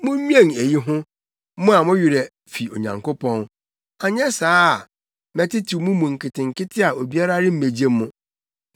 “Munnwen eyi ho, mo a mo werɛ fi Onyankopɔn, anyɛ saa a, mɛtetew mo mu nketenkete a obiara remmegye mo;